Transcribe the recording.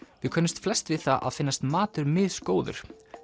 við könnumst flest við það að finnast matur misgóður